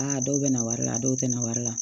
Aa dɔw bɛ na wari la dɔw tɛ na wari la